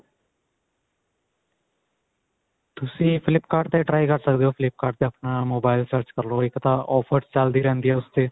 ਤੁਸੀਂ flip cart ਤੇ try ਕਰ ਸਕਦੇ ਹੋ flip cart ਤੇ ਆਪਣਾ mobile search ਕਰ ਲਵੋ ਇੱਕ ਤਾਂ offer ਚਲਦੀ ਰਹਿੰਦੀ ਹੈ ਉਸ ਤੇ